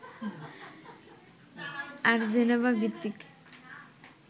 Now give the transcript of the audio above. আর জেনেভা-ভিত্তিক